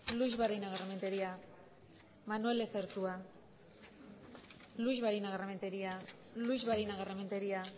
luix barinagarrementeria manuel lezertua luix barinagarrementeria luix barinagarrementeria